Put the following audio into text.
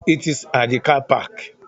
It's at the car park